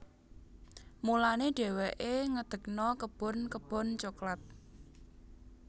Mulané dhéwéké ngedegna kebon kebon coklat